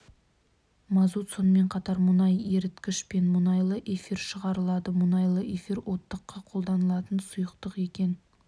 мазут сонымен қатар мұнай еріткіш пен мұнайлы эфир шығарылады мұнайлы эфир оттыққа қолданатын сұйықтық екен